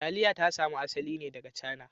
Taliya ta samo asali ne daga Cana